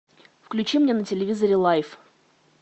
включи мне на телевизоре лайф